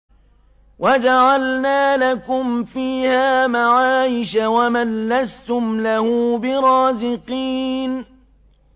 وَجَعَلْنَا لَكُمْ فِيهَا مَعَايِشَ وَمَن لَّسْتُمْ لَهُ بِرَازِقِينَ